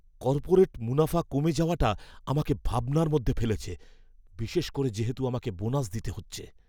Corporate মুনাফা কমে যাওয়াটা আমাকে ভাবনার মধ্যে ফেলেছে, বিশেষ করে যেহেতু আমাকে বোনাস দিতে হচ্ছে।